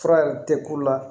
Fura yɛrɛ tɛ k'u la